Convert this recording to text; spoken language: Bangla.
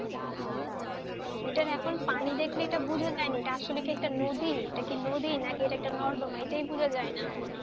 এটা আসলে পানি দেখলে বোঝা যায় না এটি কি একটা নদী নাকি একটা নর্দমা, এটাই বোঝাই যায়না,